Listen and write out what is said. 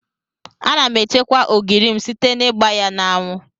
Ana m echekwa ogiri m site n'igba ya n'anwụ.